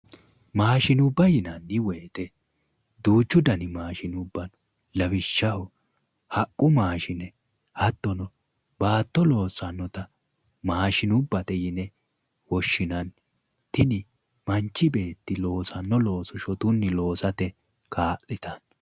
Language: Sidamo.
Maashinubba yinanni woyiite duuchu dani maashinubba no lawishshaho, haqqu maashine hattono baatto loossannota maashinubbate yine woshshinanni tini mnachi beetti loosanno looso shotunni loosate kaa'litanno